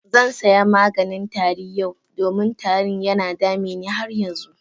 Zan saya maganin tari yau, domin tarin yana dame ni har yanzu.